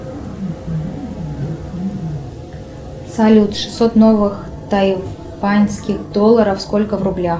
салют шестьсот новых тайваньских долларов сколько в рублях